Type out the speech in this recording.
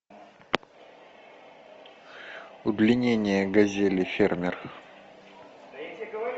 удлинение газели фермер